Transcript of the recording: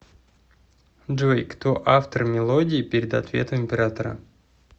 джой кто автор мелодии перед ответом оператора